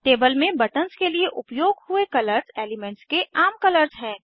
table में buttons के लिए उपयोग हुए कलर्स एलीमेन्ट्स के आम कलर्स हैं